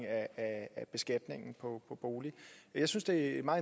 af beskatningen på boliger jeg synes det er